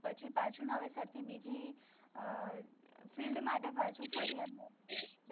પછી પાછું નવેસરથી બીજી field માટે પછી ફરી એમનું